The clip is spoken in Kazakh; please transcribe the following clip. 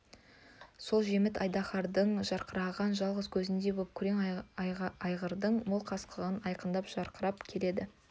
сол жеміт айдаһардың жарқыраған жалғыз көзіндей боп күрең айғырдың мол қасқасы айқындап жарқырап келеді